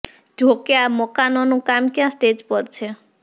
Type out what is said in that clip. જો કે આ મકાનોનું કામ ક્યાં સ્ટેજ પર છે